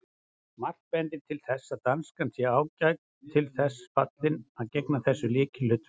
Margt bendir til þess að danskan sé ágætlega til þess fallin að gegna þessu lykilhlutverki.